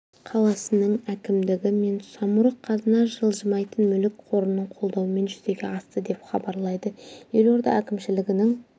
қаласының әкімдігі мен самұрық қазына жылжымайтын мүлік қорының қолдауымен жүзеге асты деп хабарлайды елорда әкімшілігінің